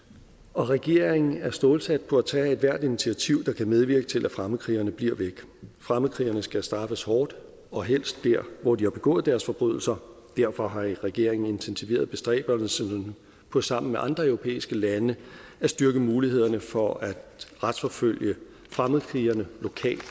og regeringen er stålsat på at tage ethvert initiativ der kan medvirke til at fremmedkrigerne bliver væk fremmedkrigerne skal straffes hårdt og helst der hvor de har begået deres forbrydelser derfor har regeringen intensiveret bestræbelsen på sammen med andre europæiske lande at styrke mulighederne for at retsforfølge fremmedkrigerne lokalt